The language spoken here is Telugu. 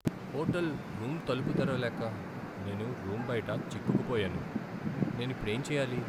హోటల్ రూమ్ తలుపు తెరవలేక నేను రూమ్ బయిట చిక్కుకుపోయాను. నేను ఇప్పుడేం చెయ్యాలి!